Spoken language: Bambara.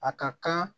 A ka kan